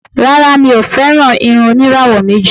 Rárá, mi ò fẹ́ràn irun oníràwọ̀ méjì.